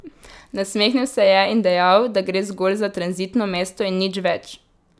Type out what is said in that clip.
Nasmehnil se je in dejal, da gre zgolj za tranzitno mesto in nič več.